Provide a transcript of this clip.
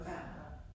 Ja